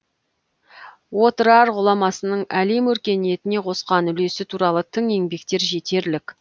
отырар ғұламасының әлем өркениетіне қосқан үлесі туралы тың еңбектер жетерлік